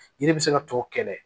Yiri bɛ se ka tɔ kɛnɛ